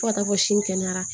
Fo ka taa fɔ sin kɛnɛyara